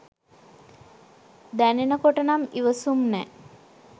දැනෙනකොට නම් ඉවසුම් නෑ